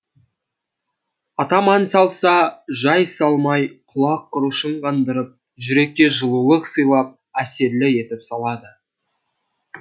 атам ән салса жай салмай құлақ құрышын қандырып жүрекке жылулық сыйлап әсерлі етіп салады